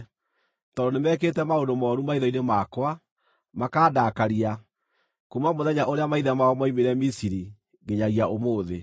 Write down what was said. tondũ nĩmekĩte maũndũ mooru maitho-inĩ makwa, makaandakaria, kuuma mũthenya ũrĩa maithe mao moimire Misiri nginyagia ũmũthĩ.”